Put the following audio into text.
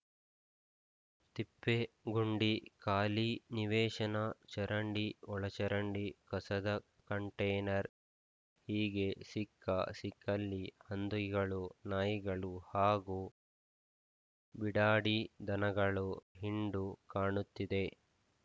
ತಿಪ್ಪೆ ಗುಂಡಿ ಖಾಲಿ ನಿವೇಶನ ಚರಂಡಿ ಒಳಚರಂಡಿ ಕಸದ ಕಂಟೇನರ್‌ ಹೀಗೆ ಸಿಕ್ಕ ಸಿಕ್ಕಲ್ಲಿ ಹಂದಿಗಳು ನಾಯಿಗಳು ಹಾಗೂ ಬಿಡಾಡಿ ದನಗಳು ಹಿಂಡು ಕಾಣುತ್ತಿದೆ